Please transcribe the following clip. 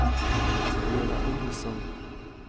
Vera Olsson